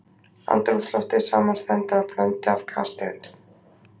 Andrúmsloftið samanstendur af blöndu af gastegundum.